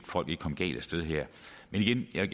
folk ikke komme galt af sted her men igen jeg